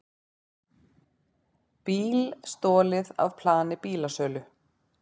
Bíl stolið af plani bílasölu